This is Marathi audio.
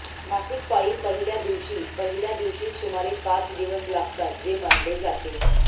मासिक पाळी पहिल्या दिवशी पहिल्या दिवशी सुमारे पाच दिवस लागतात जे मानले जाते